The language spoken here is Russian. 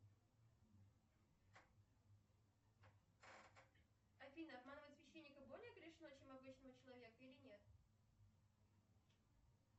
афина обманывать священника более грешно чем обычного человека или нет